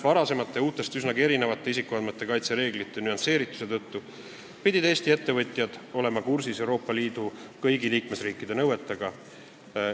Varasemate ja üsnagi erinevate isikuandmete kaitse reeglite nüansseerituse tõttu pidid Eesti ettevõtjad olema kursis Euroopa Liidu kõigi liikmesriikide nõuetega.